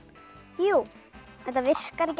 jú þetta virkar ekki